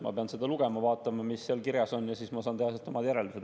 Ma pean seda lugema, vaatama, mis seal kirjas on, ja siis ma saan teha omad järeldused.